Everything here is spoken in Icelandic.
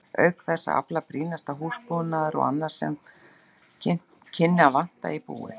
Auk þess að afla brýnasta húsbúnaðar og annars sem kynni að vanta í búið.